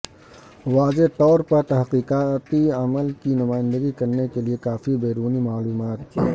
واضح طور پر تحقیقاتی عمل کی نمائندگی کرنے کے لئے کافی بیرونی معلومات